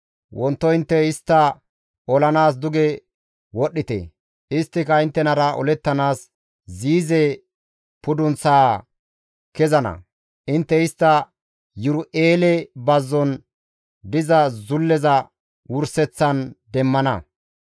Wonto intte istta olanaas duge wodhdhite; isttika inttenara olettanaas Ziize pudunththaa kezana; intte istta Yiru7eele Bazzon diza zulleza wurseththan demmana.